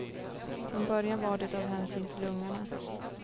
Från början var det av hänsyn till ungarna.